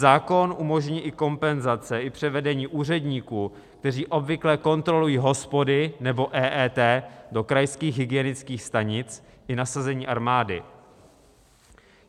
Zákon umožní i kompenzace i převedení úředníků, kteří obvykle kontrolují hospody nebo EET, do krajských hygienických stanic i nasazení armády.